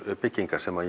byggingar sem